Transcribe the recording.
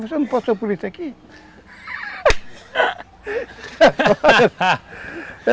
Você não passou por isso aqui?